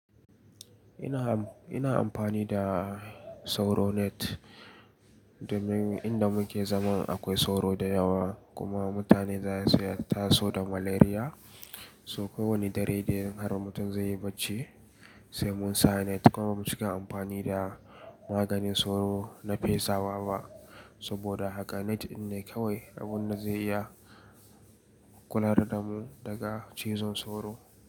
Ina, ina amfani da sauro net domin inda muke zaman akwai sauro da yawa kuma mutane za su yi taso da malaria. So kowane dare da har mutum zai yi bacci sai mun sa net kuma muke amfani da maganin sauro na fesa waba. Saboda haka net ɗin ne kawai abin da zai iya kula da mu daga cizon sauro.